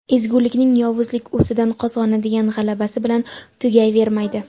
ezgulikning yovuzlik ustidan qozonadigan g‘alabasi bilan tugayvermaydi.